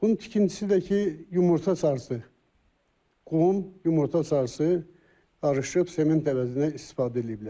Bunun tikintisi də ki, yumurta sarısı, qum, yumurta sarısı qarışıb sement əvəzinə istifadə ediblər.